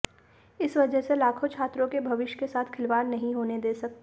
इस वजह से लाखों छात्रों के भविष्य के साथ खिलवाड़ नहीं होने दे सकते